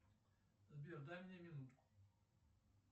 сбер дай мне минутку